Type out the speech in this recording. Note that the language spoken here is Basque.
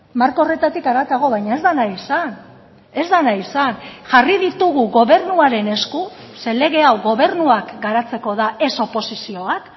marko horretatik haratago baina ez da nahi izan ez da nahi izan jarri ditugu gobernuaren esku ze lege hau gobernuak garatzeko da ez oposizioak